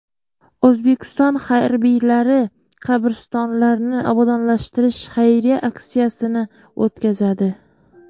O‘zbekiston harbiylari qabristonlarni obodonlashtirish xayriya aksiyasini o‘tkazadi.